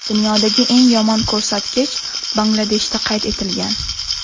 Dunyodagi eng yomon ko‘rsatkich Bangladeshda qayd etilgan.